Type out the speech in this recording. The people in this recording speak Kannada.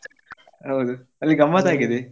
ಹೌದು ಅಲ್ಲಿ ಗಮ್ಮತ್ ಆಗಿದೆ.